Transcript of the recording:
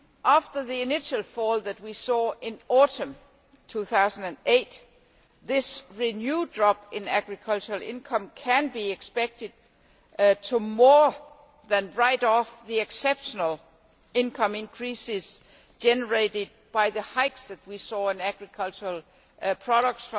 After the initial fall that we saw in autumn 2008, this renewed drop in agricultural income can be expected to more than write off the exceptional income increases generated by the hikes that we saw in agricultural products